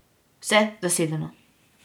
Vse zasedeno.